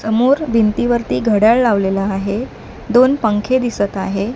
समोर भिंतीवरती घड्याळ लावलेलं आहे दोन पंखे दिसत आहे.